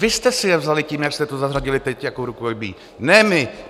Vy jste si je vzali tím, jak jste to zařadili teď, jako rukojmí, ne my.